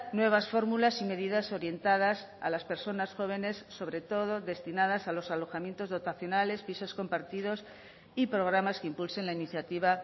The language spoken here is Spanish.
nuevas fórmulas y medidas orientadas a las personas jóvenes sobre todo destinadas a los alojamientos dotacionales pisos compartidos y programas que impulsen la iniciativa